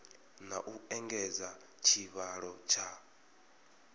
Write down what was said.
na u engedza tshivhalo tsha